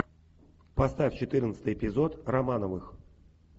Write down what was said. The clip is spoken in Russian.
поставь четырнадцатый эпизод романовых